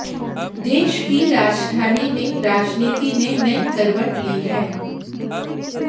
देश की राजधानी में राजनीति ने नई करवट ली है